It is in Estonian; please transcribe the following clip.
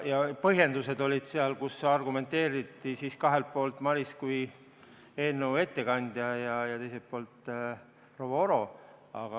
Põhjendused olid sellised, et argumenteeriti kahelt poolt, Maris kui eelnõu ettekandja ja teiselt poolt proua Oro.